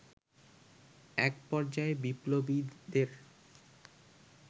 এক পর্যায়ে বিপ্লবীদের